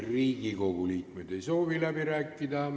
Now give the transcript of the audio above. Riigikogu liikmed ei soovi läbi rääkida.